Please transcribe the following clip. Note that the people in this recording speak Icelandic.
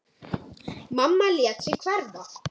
Mamma lét sig hverfa.